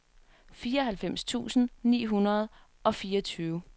fireoghalvfems tusind ni hundrede og fireogtyve